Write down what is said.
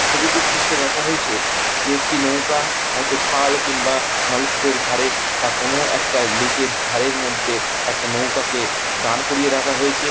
ছবিটির দৃশ্যে দেখা হয়েছে যে একটি নৌকা হয়তো খাল কিংবা নলকূপের ধারে বা কোনো একটা লেক -এর ধারের মধ্যে একটা নৌকাকে দাঁড় করিয়ে রাখা হয়েছে।